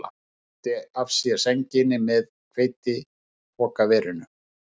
Hann svipti af sér sænginni með hveitipokaverinu.